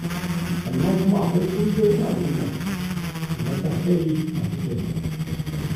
Sannan kuma akwai ƙungiyoyin al'umma da na sa-kai masu taimako.